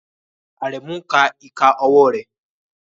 Aremu ń ka ìka ọwọ́ rẹ̀